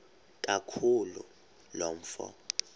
kaloku lo mfo